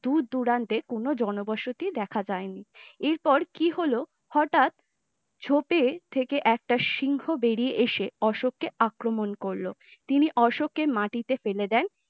দূরদূরান্তের কোন জনবসতি দেখা যায়নি এরপর কী হল হঠাৎ ঝোঁপের থেকে একটা সিংহ বেড়িয়ে এসে অশোক আক্রমণ করল তিনি অশোকে মাটিতে ফেলে দেন